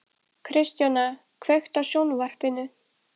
Kristjóna, kveiktu á sjónvarpinu.